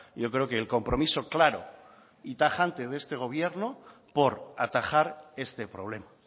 yo creo que el compromiso claro y tajante de este gobierno por atajar este problema